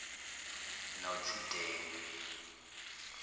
notidengi